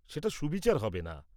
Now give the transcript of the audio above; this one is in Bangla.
সেটা সুবিচার হবে না।